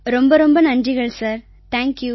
பிரதமர் thank you thank you